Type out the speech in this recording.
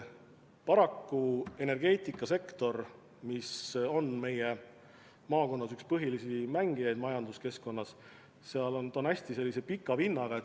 Paraku energeetikasektor, mis on meie maakonnas üks põhilisi mängijaid majanduskeskkonnas, on hästi pika vinnaga.